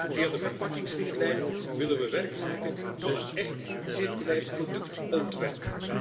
Via de verpakkingsrichtlijn willen we werk maken van een echt circulair productontwerp.